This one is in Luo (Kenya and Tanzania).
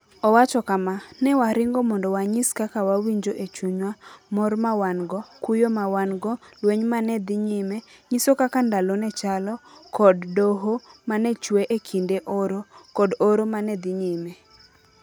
Owacho kama: "Ne waringo mondo wanyis kaka wawinjo e chunywa, mor ma wan - go, kuyo ma wan - go, lweny ma ne dhi nyime, nyiso kaka ndalo ne chalo, kod Dohoh ma ne chwe e kinde oro, kod oro ma ne dhi nyime.